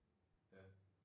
Ja